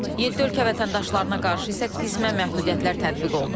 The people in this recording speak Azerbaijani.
Yeddi ölkə vətəndaşlarına qarşı isə qismən məhdudiyyətlər tətbiq olunub.